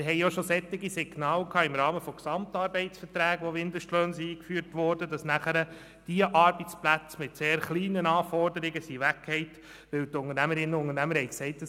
Wir hatten auch solche Signale im Rahmen von Gesamtarbeitsverträgen, wo Mindestlöhne eingeführt worden und nachher die Arbeitsplätze mit sehr kleinen Anforderungen weggefallen sind, weil die Unternehmerinnen und Unternehmer gesagt haben: